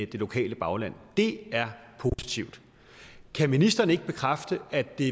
lokale bagland det er positivt kan ministeren ikke bekræfte at det